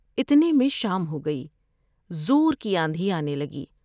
اتنے میں شام ہوگئی ، زور کی آندھی آنے گی ۔